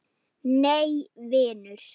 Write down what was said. Nei vinur.